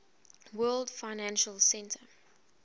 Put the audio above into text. world financial center